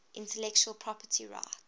intellectual property rights